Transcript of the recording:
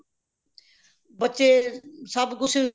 ਬੱਚੇ ਸਭ ਕੁਛ